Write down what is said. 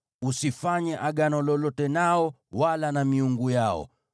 Usifanye agano lolote nao wala na miungu yao.